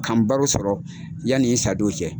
Ka n baro sɔrɔ yani n sadon cɛ.